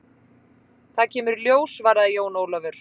Það kemur í ljós, svaraði Jón Ólafur.